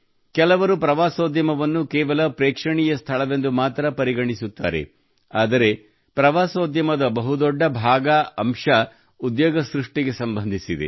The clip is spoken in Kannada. ಕೆಲವರು ಪ್ರವಾಸೋದ್ಯಮವನ್ನು ಕೇವಲ ಪ್ರೇಕ್ಷಣೀಯ ಸ್ಥಳವೆಂದು ಮಾತ್ರ ಪರಿಗಣಿಸುತ್ತಾರೆ ಆದರೆ ಪ್ರವಾಸೋದ್ಯಮದ ಬಹುದೊಡ್ಡ ಭಾಗ ಅಂಶವು ಉದ್ಯೋಗ ಸೃಷ್ಟಿಗೆ ಸಂಬಂಧಿಸಿದೆ